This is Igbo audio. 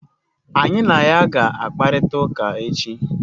Anyị na ya ga-akparịta ụka echi?